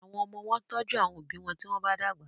Àwọn omo wón tọjú àwọn òbí wón tí wón bá dàgbà.